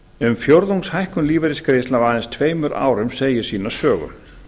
um fjórðungs hækkun lífeyrisgreiðslna á aðeins tveimur árum segir sína sögu